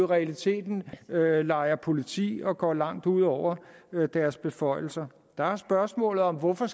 realiteten leger politi og går langt ud over deres beføjelser der er spørgsmålet om hvorfor